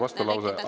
Aitäh!